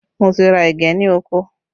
Mo ti ra ẹ̀gẹ́ ní oko